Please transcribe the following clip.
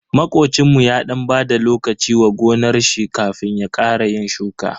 Makocinmu ya dan bada lokaci wa gonar shi kafin ya ƙara yin shuka.